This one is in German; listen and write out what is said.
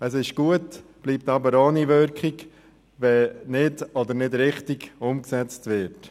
Das ist gut, bleibt aber ohne Wirkung, wenn es nicht oder nicht richtig umgesetzt wird.